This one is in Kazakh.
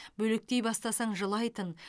бөлектей бастасаң жылайтын